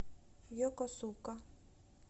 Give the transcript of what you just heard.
йокосука